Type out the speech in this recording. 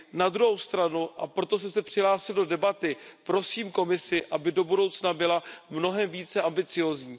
Na druhou stranu, a proto jsem se přihlásil do debaty, prosím Komisi, aby do budoucna byla mnohem více ambiciózní.